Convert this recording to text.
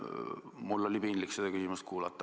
Mul oli piinlik seda küsimust kuulata.